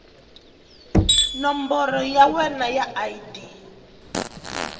nomboro ya wena ya id